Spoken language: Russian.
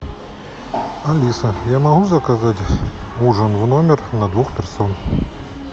алиса я могу заказать ужин в номер на двух персон